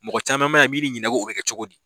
Mɔgɔ caman bɛ yan min bɛ ɲininka ko o kɛ cogo di